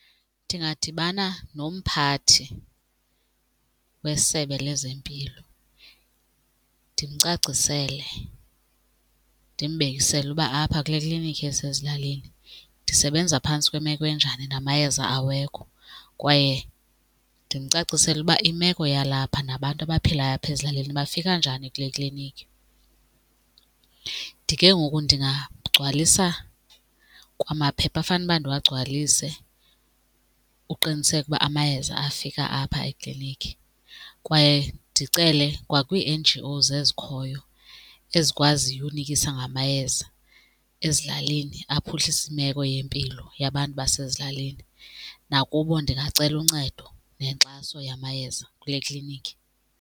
Ndingadibana nomphathi wesebe lezempilo ndimcacisele, ndimbekisele uba apha kule klinikhi esezilalini ndisebenza phantsi kwemeko enjani namayeza awekho, kwaye ndimcacisele uba imeko yalapha nabantu abaphilayo apha ezilalini bafika njani kule klinikhi. Ke ngoku ndingagcwalisa kwamaphepha afanuba ndiwagcwalise uqiniseka ukuba amayeza afika apha eklinikhi. Kwaye ndicele kwakwii-N_G_Os ezikhoyo ezikwaziyo unikisa ngamayeza ezilalini aphuhlise imeko yempilo yabantu basezilalini, nakubo ndingacela uncedo nenkxaso yamayeza kule klinikhi.